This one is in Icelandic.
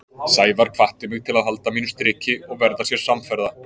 Sævar hvatti mig til að halda mínu striki og verða sér samferða.